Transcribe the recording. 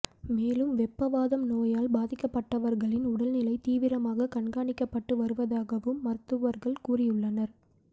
மேலும் வெப்ப வாதம் நோயால் பாதிக்கப்பட்டவர்களின் உடல்நிலை தீவிரமாக கண்காணிக்கப்பட்டு வருவதாகவும் மருத்துவர்கள் கூறியுள்ளனர்